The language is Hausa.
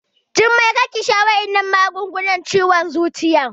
Jummai kar ki sha waɗannan magungunan ciwon zuciyan!